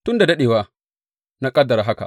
Tun da daɗewa na ƙaddara haka.